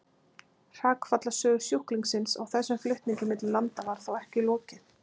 Hrakfallasögu sjúklingsins á þessum flutningi milli landa var þó ekki lokið.